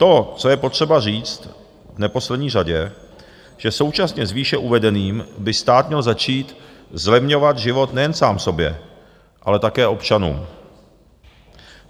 To, co je potřeba říct v neposlední řadě, že současně s výše uvedeným by stát měl začít zlevňovat život nejen sám sobě, ale také občanům.